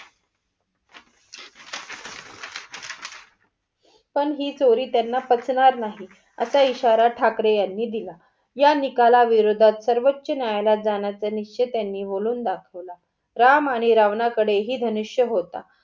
पण ही चोरी त्यांना पचणार नाही, असा इशारा ठाकरे यांनी दिला. या निकाल विरोधात सर्वोचान्यायालात जाण्याचा निश्चय त्यांनी बोलवून दाखवला. राम आणि रावणाकडे हि धनुष्य होता.